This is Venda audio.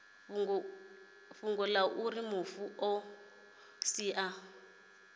fhungo auri mufu o sia